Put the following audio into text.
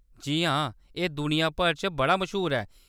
जी हां, एह्‌‌ दुनिया भर च बड़ा मश्हूर ऐ।